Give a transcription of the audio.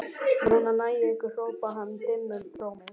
Núna næ ég ykkur hrópaði hann dimmum rómi.